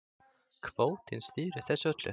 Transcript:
Kvótinn stýrir þessu öllu